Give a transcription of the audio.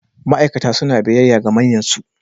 Ma'aikata suna biyayya ga manyansu.